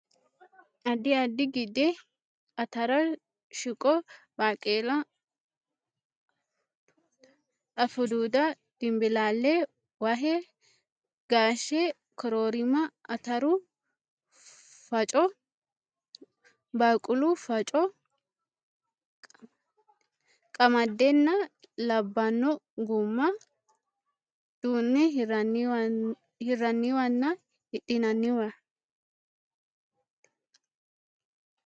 Addi addi gide: atara, shiqo, baqeela, afuduuda, dinbilaalla, wahe, gaashe, koroorima, ataru faffaco, baqeelu faffaco, qamadenna labbanno gumma duunne hirraniwanna hidhinanniwa.